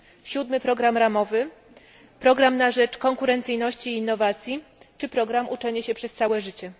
7. program ramowy, program na rzecz konkurencyjności i innowacji czy program Uczenie się przez całe życie.